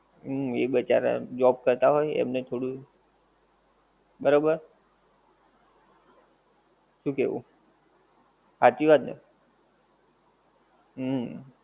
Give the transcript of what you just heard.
હુંમ એ બચારા job કરતાં હોય એમને થોડું, બરોબર? શું કેવુ? હાંચી વાત ને? હુંમ.